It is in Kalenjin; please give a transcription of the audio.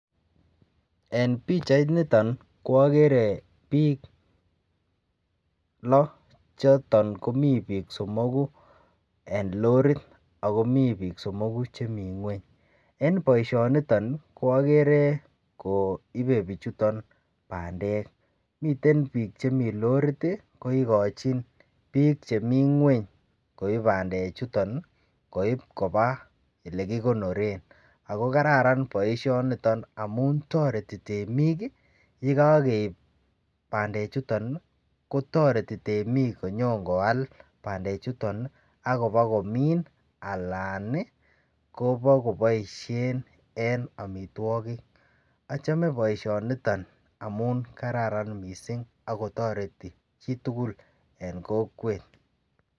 En pichait niton ko agere biik lo choton komi biik somoku en lorit ago mi biik somogu che mi ngwony. En boisioniton koagere koipe biichuton bandek. Miten biik che mi lorit ko igochin biik chemi ngwony koip bandechuton, koip koba elekikonoren. Ago kararan boisionito amun toreti temik. Ye kakeip bandechuton kotoreti temik konyon koal bandechuton ak kobokomin anan kobokoboisien en amitwogik. Achome boisionito amun kararan mising ak kotoreti chitugul en kokwet.